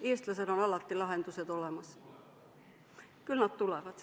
Eestlasel on alati lahendused olemas, küll nad tulevad.